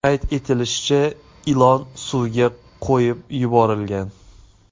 Qayd etilishicha, ilon suvga qo‘yib yuborilgan.